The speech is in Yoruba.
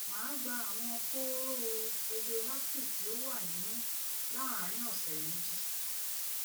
màá gba àwọn kóóró radioactive tí ó wà nínú láàárín ọsẹ méjì